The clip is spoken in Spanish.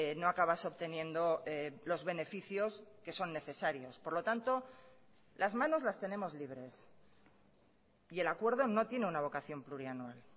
no acabas obteniendo los beneficios que son necesarios por lo tanto las manos las tenemos libres y el acuerdo no tiene una vocación plurianual